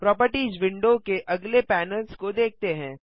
properties window के अगले panels को देखते हैं